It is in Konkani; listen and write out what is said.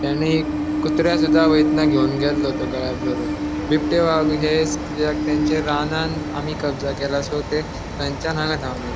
तेणे कुत्र्याकसुदा वैतना घेवन गेल्लो तो गळ्याक धरून बिबटे वाघ ह्येच किद्याक तेंचे रानान आमी कब्जा केला सो ते तांचा हांगा धावन ये ----